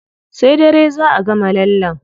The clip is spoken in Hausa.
Sai dare zá a gama lallen.